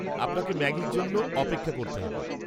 আপনাকে ম্যাগির জন্য অপেক্ষা করতে হবে।